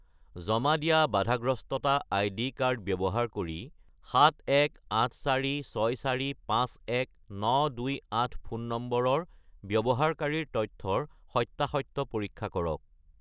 জমা দিয়া বাধাগ্ৰস্ততা আইডি কাৰ্ড ব্যৱহাৰ কৰি 71846451928 ফোন নম্বৰৰ ব্যৱহাৰকাৰীৰ তথ্যৰ সত্য়াসত্য় পৰীক্ষা কৰক